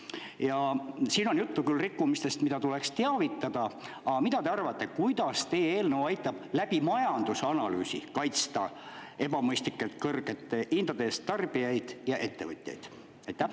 Ja siin on juttu küll rikkumistest, mida tuleks teavitada, aga mida te arvate, kuidas teie eelnõu aitab läbi majandusanalüüsi kaitsta ebamõistlikult kõrgete hindade eest tarbijaid ja ettevõtjaid?